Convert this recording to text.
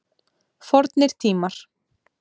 Fornir tímar.